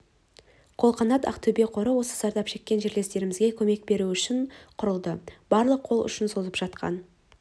қолғанат ақтөбе қоры осы зардап шеккен жерлестерімізге көмек беру үшін құрылды барлық қол ұшын созып жатқан